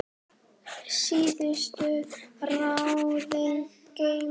Síðustu ráðin geymi ég.